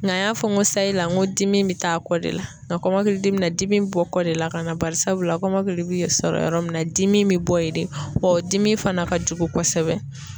Nka an y'a fɔ ko sayi la nko dimi be taa kɔ de la ,nka kɔmɔkili dimi be na dimi be bɔ kɔ de la ka na ,barisabula kɔmɔkili bi sɔrɔ yɔrɔ min na dimi bi bɔ yen de. Wa o dimi fana ka jugu kɔsɛbɛ.